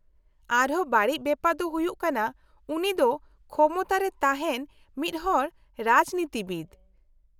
-ᱟᱨ ᱦᱚᱸ ᱵᱟᱹᱲᱤᱡ ᱵᱮᱯᱟᱨ ᱫᱚ ᱦᱩᱭᱩᱜ ᱠᱟᱱᱟ ᱩᱱᱤ ᱫᱚ ᱠᱷᱚᱢᱚᱛᱟ ᱨᱮ ᱛᱟᱦᱮᱱ ᱢᱤᱫᱦᱚᱲ ᱨᱟᱡᱽᱱᱤᱛᱤᱵᱤᱫ ᱾